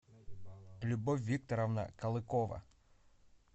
любовь викторовна калыкова